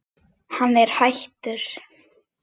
Hann er hættur.